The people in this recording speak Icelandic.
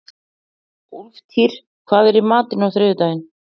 Úlftýr, hvað er í matinn á þriðjudaginn?